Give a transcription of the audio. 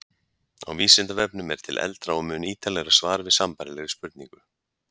Á Vísindavefnum er til eldra og mun ítarlegra svar við sambærilegri spurningu.